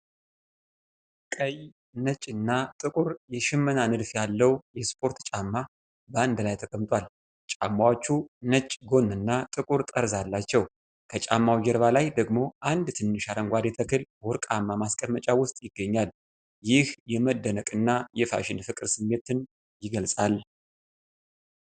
ቀይ፣ ነጭና ጥቁር የሽመና ንድፍ ያለው የስፖርት ጫማ በአንድ ላይ ተቀምጧል። ጫማዎቹ ነጭ ጎንና ጥቁር ጠርዝ አላቸው። ከጫማው ጀርባ ላይ ደግሞ አንድ ትንሽ አረንጓዴ ተክል በወርቃማ ማስቀመጫ ውስጥ ይገኛል። ይህ የመደነቅና የፋሽን ፍቅር ስሜትን ይገልጻል።